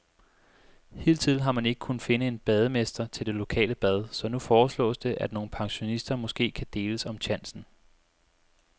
Hidtil har man ikke kunnet finde en bademester til det lokale bad, så nu foreslås det, at nogle pensionister måske kan deles om tjansen.